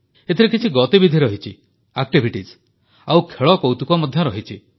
ଏଥିରେ କିଛି ଗତିବିଧି ରହିଛି ଆଉ ଖେଳକୌତୁକ ମଧ୍ୟ ରହିଛି